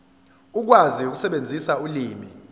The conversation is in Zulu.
ukwazi ukusebenzisa ulimi